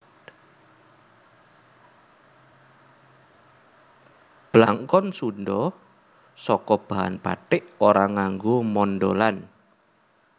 Blangkon Sundha saka bahan bathik ora nganggo mondholan